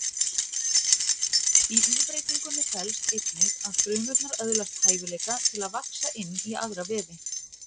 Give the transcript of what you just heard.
Í umbreytingunni felst einnig að frumurnar öðlast hæfileika til að vaxa inn í aðra vefi.